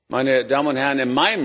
Meine Damen und Herren!